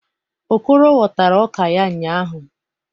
Okoro ghọtara ọka ya ụnyahụ.